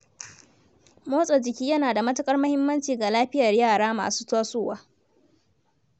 Motsa jiki yana da matuƙar muhimmanci ga lafiyar yara masu tasowa.